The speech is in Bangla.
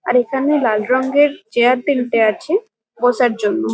আর এখানে লাল রঙ্গের চেয়ার তিনটে আছে বসার জন্য।